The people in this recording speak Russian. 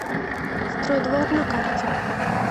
строй двор на карте